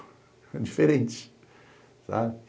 É diferente.